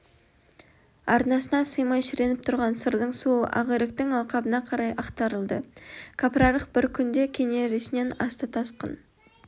арнасына сыймай шіреніп тұрған сырдың суы ақиректің алқабына қарай ақтарылды кәпірарық бір күнде кенересінен асты тасқын